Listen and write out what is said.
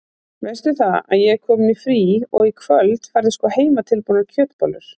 Veistu það að ég er komin í frí og í kvöld færðu sko heimatilbúnar kjötbollur.